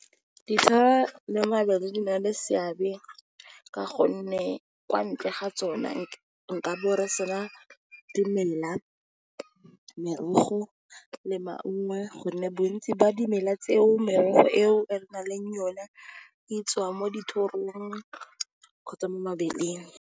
le mabele di na le seabe ka gonne kwa ntle ga tsona nkabo re sena dimela, merogo, le maungo, gonne bontsi ba dimela tseo, merogo ao re nang le yone e tswa dithorong kgotsa mo mabeleng.